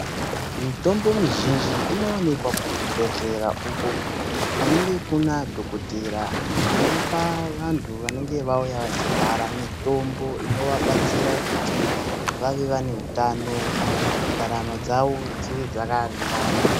Mitombo mizhinji inowanikwa kuzvibhehlera uko kunenge kuna dhokodheya anopa vanhu vanenge vauya vachirwara mitombo inovabatsira kuti vave vane utano Ndaramo dzavo dzive dzakaringana.